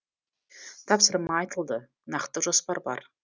тапсырма айтылды нақты жоспар бар